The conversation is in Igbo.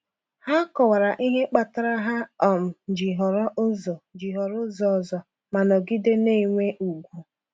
Ha kọwara ihe kpatara ha um ji họrọ ụzọ ji họrọ ụzọ ọzọ, ma nọgide na-enwe ùgwù.